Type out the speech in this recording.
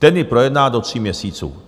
Ten ji projedná do tří měsíců.